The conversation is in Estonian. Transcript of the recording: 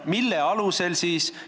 Mille alusel?